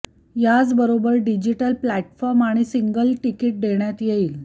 याचबरोबर digital platform आणि single ticket देण्यात येईल